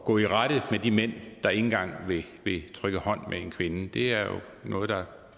gå i rette med de mænd der ikke engang vil trykke hånd med en kvinde det er jo noget